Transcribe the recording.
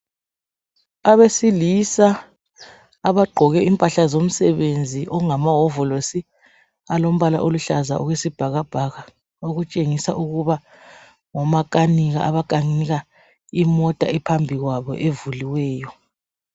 Abesilisa abagqoke impahla zomsebenzi okungamahovolosi alombala oluhlaza okwesibhakabhaka okutshengisa ukuba ngomakanika abakanika iota ephambi kwabo evuliweyo.